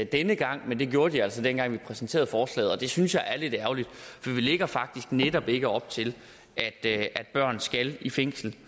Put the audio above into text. denne gang men det gjorde de altså dengang vi præsenterede forslaget og det synes jeg er lidt ærgerligt for vi lægger faktisk netop ikke op til at at børn skal i fængsel